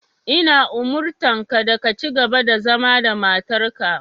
Ina umurtanka da ka cigaba da zama da matarka.